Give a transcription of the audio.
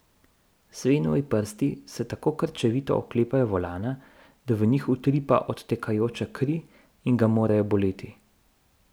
Svenovi prsti se tako krčevito oklepajo volana, da v njih utripa odtekajoča kri in ga morajo boleti.